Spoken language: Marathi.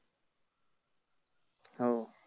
हाव